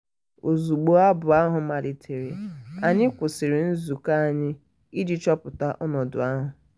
ozugbo abụ ahụ malitere anyị kwụsịrị nzukọ anyị iji chọpụta ọnọdụ ahụ.